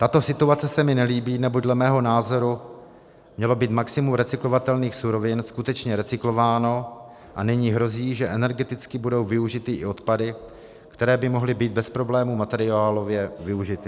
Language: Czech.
Tato situace se mi nelíbí, neboť dle mého názoru mělo být maximum recyklovatelných surovin skutečně recyklováno, a nyní hrozí, že energeticky budou využity i odpady, které by mohly být bez problémů materiálově využity.